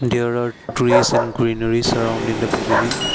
there are trees and greenery surrounding in the pavilion.